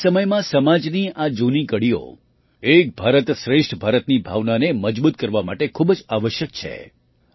આધુનિક સમયમાં સમાજની આ જૂની કડીઓ એક ભારત શ્રેષ્ઠ ભારતની ભાવનાને મજબૂત કરવા માટે ખૂબ જ આવશ્યક છે